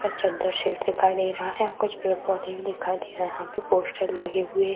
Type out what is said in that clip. ऊपर चद्दर शीट दिखाई दे रहा है कुछ पेड़-पौधे भी दिखाई दे रहा यहाँ पे पोस्टर लगे हुए --